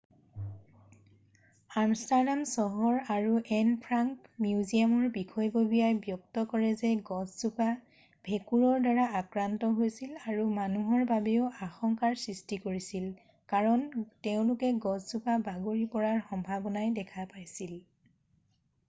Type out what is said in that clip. Amsterdam চহৰ আৰু Anne Frank মিউজিয়ামৰ বিষয়ববীয়াই ব্যক্ত কৰে যে গছজোপা ভেঁকুৰৰ দ্বাৰা আক্ৰান্ত হৈছিল আৰু মানুহৰ বাবেও আশংকাৰ সৃষ্টি কৰিছিল কাৰণ তেওঁলোকে গছজোপা বাগৰি পৰাৰ সম্ভবনাই দেখা পাইছিল